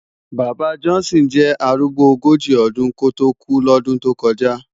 Baba Johnson jè árúgbó ógóji ódún kótó kú lòdún tó kòjá